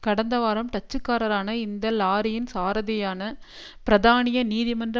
கடந்த வாரம் டச்சுக்காரரான இந்த லாரியின் சாரதியான பிராதானிய நீதிமன்ற